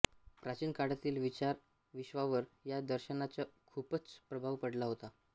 प्राचीन काळातील विचारविश्वावर या दर्शनाचा खूपच प्रभाव पडला होता